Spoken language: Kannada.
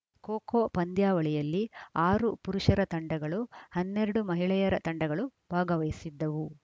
ಖೋಖೋ ಪಂದ್ಯಾವಳಿಯಲ್ಲಿ ಆರು ಪುರುಷರ ತಂಡಗಳು ಹನ್ನೆರಡು ಮಹಿಳೆಯರ ತಂಡಗಳು ಭಾಗವಹಿಸಿದ್ದವು